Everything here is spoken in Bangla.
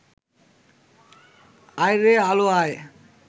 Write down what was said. আয়রে আলো আয়